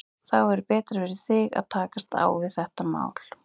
Þá verður betra fyrir þig að takast á við þetta mál.